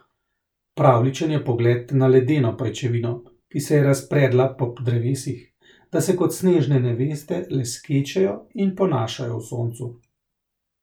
Pravljičen je pogled na ledeno pajčevino, ki se je razpredla po drevesih, da se kot snežne neveste leskečejo in ponašajo v soncu.